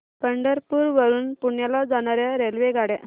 पंढरपूर वरून पुण्याला जाणार्या रेल्वेगाड्या